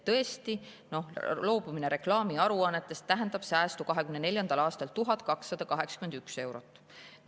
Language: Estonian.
Tõesti, loobumine reklaamiaruannetest tähendab säästu 2024. aastal 1281 eurot.